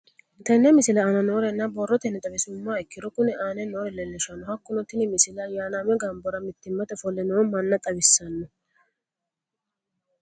Tenne misile aana noore borrotenni xawisummoha ikirro kunni aane noore leelishano. Hakunno tinni misile ayanaame gamborra mittimate ofolle noo manna xawisanno.